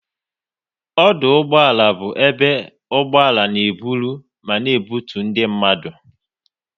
Ọdụ ụgbọala bụ ebe ụgbọala n'eburu ma na ebutu ndị mmadụ